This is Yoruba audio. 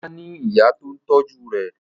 Ọlá ní ìyá tó ń tọ́jú rẹ̀.